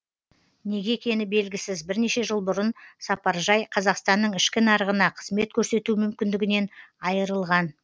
неге екені белгісіз бірнеше жыл бұрын сапаржай қазақстанның ішкі нарығына қызмет көрсету мүмкіндігінен айырылған